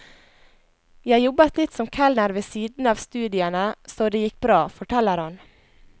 Jeg jobbet litt som kelner ved siden av studiene, så det gikk bra, forteller han.